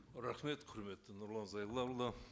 рахмет құрметті нұрлан зайроллаұлы